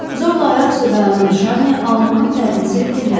Zorla ayaq üstə dayanan Şarni alnının tərini silib dilləndi.